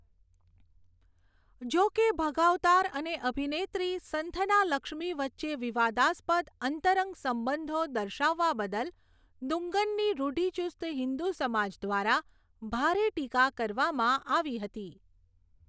જોકે, ભગાવતાર અને અભિનેત્રી સંથનાલક્ષ્મી વચ્ચે વિવાદાસ્પદ અંતરંગ સંબંધો દર્શાવવા બદલ 'દુંગન'ની રૂઢિચુસ્ત હિંદુ સમાજ દ્વારા ભારે ટીકા કરવામાં આવી હતી.